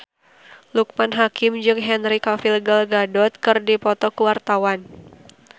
Loekman Hakim jeung Henry Cavill Gal Gadot keur dipoto ku wartawan